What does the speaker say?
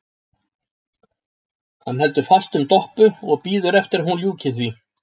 Hann heldur fast um Doppu og bíður eftir að hún ljúki því.